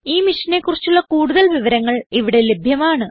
ഈ മിഷനെ കുറിച്ചുള്ള കുടുതൽ വിവരങ്ങൾ ഇവിടെ ലഭ്യമാണ്